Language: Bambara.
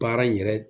Baara in yɛrɛ